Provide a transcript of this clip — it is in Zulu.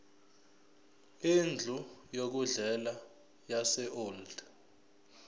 indlu yokudlela yaseold